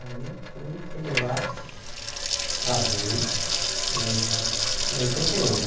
Aí eu fui, cheguei lá, casei em oitenta e um, né?